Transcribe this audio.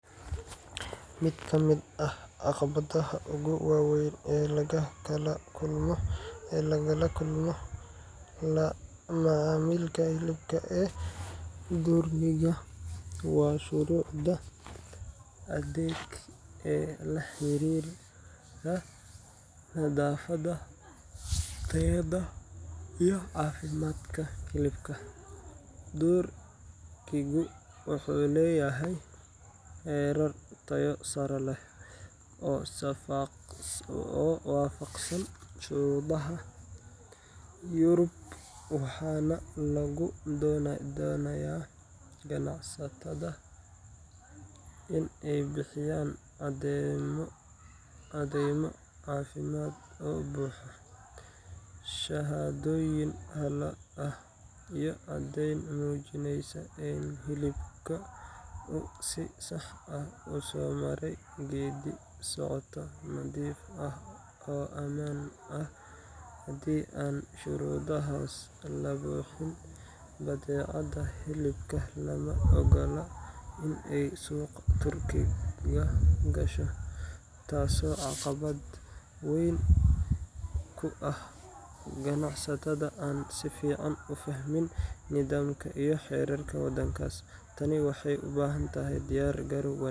Mid ka mid ah caqabadaha ugu waaweyn ee laga kala kulmo la macaamilka hilibka ee Turkiga waa shuruucda adag ee la xiriira nadaafadda, tayada, iyo caafimaadka hilibka. Turkigu wuxuu leeyahay heerar tayo sare leh oo waafaqsan shuruucda Yurub, waxaana laga doonayaa ganacsatada in ay bixiyaan caddeymo caafimaad oo buuxa, shahaadooyin halal ah, iyo caddayn muujinaysa in hilibka uu si sax ah u soo maray geeddi-socod nadiif ah oo ammaan ah. Haddii aan shuruudahaas la buuxin, badeecada hilibka lama oggola in ay suuqa Turkiga gasho, taasoo caqabad weyn ku ah ganacsatada aan si fiican u fahmin nidaamka iyo xeerarka wadankaas. Tan waxay u baahan tahay diyaar garow wanaagsan.